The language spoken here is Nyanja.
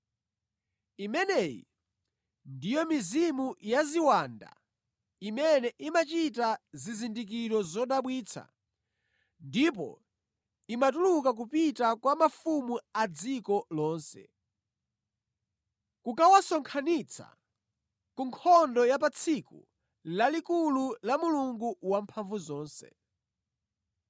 Imeneyi ndiyo mizimu ya ziwanda imene imachita zizindikiro zodabwitsa ndipo imatuluka kupita kwa mafumu a dziko lonse, kukawasonkhanitsa ku nkhondo ya pa tsiku lalikulu la Mulungu Wamphamvuzonse.